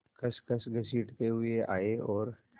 खसखस घसीटते हुए आए और